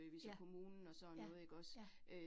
Ja, ja ja